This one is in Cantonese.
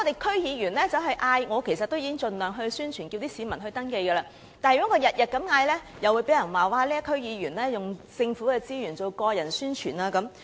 區議員已經盡量宣傳，呼籲市民登記，但如果每天都作出呼籲，又會有人說區議員利用政府資源作個人宣傳。